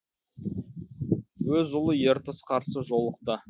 өз ұлы ертіс қарсы жолықты